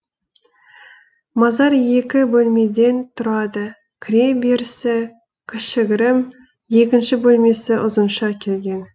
мазар екі бөлмеден тұрады кіре берісі кішігірім екінші бөлмесі ұзынша келген